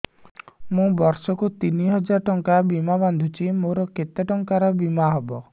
ମୁ ବର୍ଷ କୁ ତିନି ହଜାର ଟଙ୍କା ବୀମା ବାନ୍ଧୁଛି ମୋର କେତେ ଟଙ୍କାର ବୀମା ହବ